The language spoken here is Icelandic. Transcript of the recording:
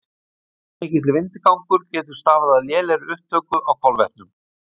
of mikill vindgangur getur stafað af lélegri upptöku á kolvetnum